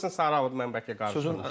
Ola bilsin sarı alıb, mən bəlkə qarışdırdım.